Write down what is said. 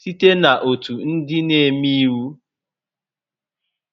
site na ótù ndị na-eme íwú